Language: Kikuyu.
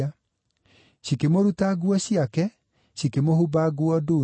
Cikĩmũruta nguo ciake, cikĩmũhumba nguo ndune,